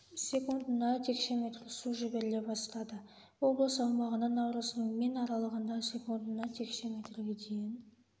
секундына текше метр су жіберіле бастады облыс аумағына наурыздың мен аралығында секундына текше метрге дейін